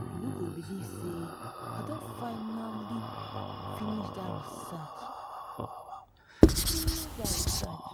you no go fit believe say i don finally finish dat research finish dat research